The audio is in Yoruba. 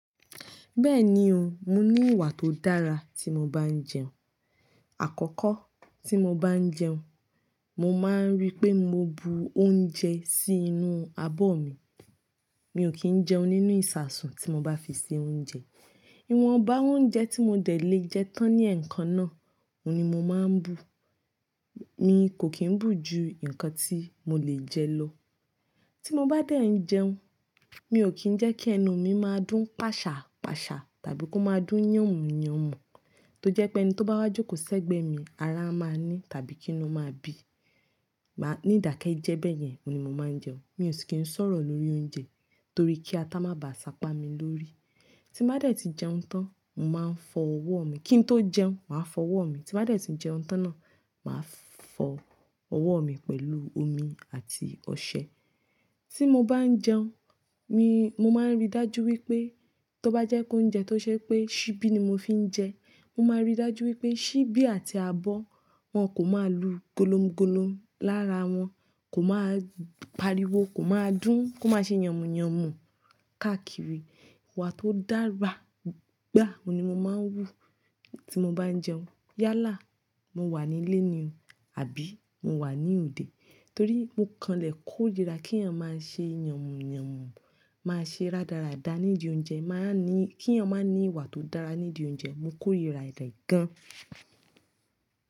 Bẹ́ẹ̀ni o, mo ní ìwà tó dára tí mo bá ń jẹun. Àkọ́kọ́ tí mo bá ń jẹun, mo máa ń rí pé mo bu oúnjẹ sí inú abọ́ mi. Mi ò kí ń jẹun nínú ìṣasùn tí mo bá fi se oúnjẹ. Ìwọ̀nba oúnjẹ tí mo dẹ̀ lè jẹ tán ní ẹ̀ẹ̀kan náà, òun ni mo máa ń bu. Mi kò kí ń bù ju nǹkan tí mo lè jẹ lọ. Tí mo bá dẹ̀ ń jẹun, mi ò kí ń jẹ́ kí ẹnu mi máa dún pàṣàà pàṣàà tàbí kó máa dún yànmù yànmù, tó jẹ́ pé ẹni tó bá wá jókòó sẹ́gbẹ̀ẹ́ mi, ara a máa ní tàbí kí inú máa bí. Máa ní ìdákẹ́ jẹ́ bẹ́ẹ̀ yẹn ni mo máa ń jẹun. Mi ò si kí ń sọ̀rọ̀ lórí oúnjẹ torí kí ata má bà ṣapa mi lórí. Tí mo bá dẹ̀ ti jẹun tán, mo máa ń fọ ọwọ́ mi. Kí n tó jẹun, màá fọ ọwọ́ mi. Tí mo bá dẹ̀ ti jẹun tán náà, màá fọ ọwọ́ mi pẹ̀lú omi àti ọṣẹ. Tí mo bá ń jẹun, mi, mo máa ń rí dájú wípé tó bá jẹ́ pe ounjẹ tó ṣe pé ṣibi ni mo fi ń jẹ, mo máa rí dájú wípé ṣibi àti abọ́ wọn kò máa lu golómgolom lára wọn, kò máa pariwo, kò máa dún, kò máa ṣe yànmù yànmù káàkiri. Ìwà tó dára gbà, òun ni mo máa ń wú tí mo bá ń jẹun. Yálà, mo wà nílé ni o, àbí mo wà ní òde. Torí mo kanlẹ̀ kó irira kí ènìyàn má ṣe yànmù yànmù, má ṣe ráràdàrà nídi oúnjẹ, má ní, kí ènìyàn má ní ìwà tó dára ní'di oúnjẹ, mo kórìíra rẹ gan.